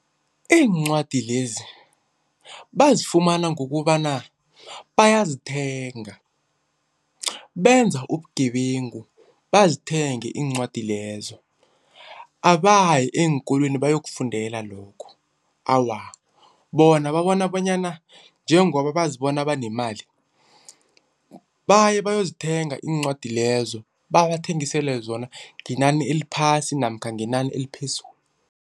Iincwadi lezi bazifumana ngokobana bayazithenga, benza ubugebengu bazithenge iincwadi lezo. Abayi eenkolweni bayokufundela lokho. Awa, bona babona bonyana njengoba bazibona banemali baye bayozithenga iincwadi lezo. Babathengisele zona ngenani eliphasi namkha ngenani eliphezulu.